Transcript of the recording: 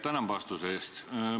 Tänan vastuse eest!